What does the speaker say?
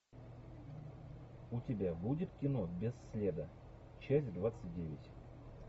у тебя будет кино без следа часть двадцать девять